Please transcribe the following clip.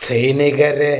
സൈനികരെ